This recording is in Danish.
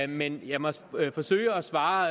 men jeg må forsøge at svare